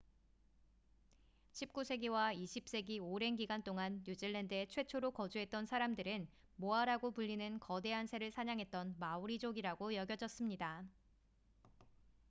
19세기와 20세기 오랜 기간 동안 뉴질랜드에 최초로 거주했던 사람들은 모아라고 불리는 거대한 새를 사냥했던 마오리족이라고 여겨졌습니다